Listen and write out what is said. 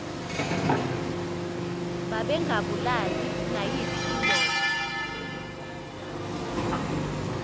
babengabulali nayiphi indoda